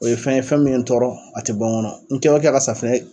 o ye fɛn ye fɛn min ye n tɔɔrɔ, a te bɔ ŋɔnɔ. N kɛ o kɛ ka safunɛ